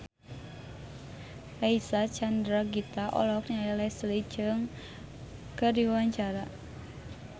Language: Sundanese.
Reysa Chandragitta olohok ningali Leslie Cheung keur diwawancara